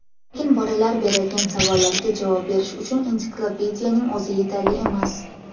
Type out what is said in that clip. Lekin bolalar beradigan savollarga javob berish uchun ensiklopediyaning o‘zi yetarli emas.